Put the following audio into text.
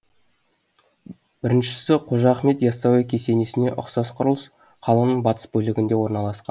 біріншісі қожа ахмет ясауи кесенесіне ұқсас құрылыс қаланың батыс бөлігінде орналасқан